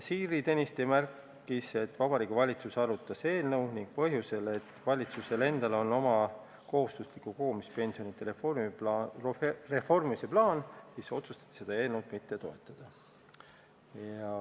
Siiri Tõniste märkis, et Vabariigi Valitsus arutas eelnõu, aga kuna valitsusel endal on kohustusliku kogumispensioni reformimise plaan juba olemas, otsustati seda eelnõu mitte toetada.